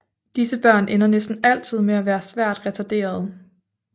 Disse børn ender næsten altid med at være svært retarderede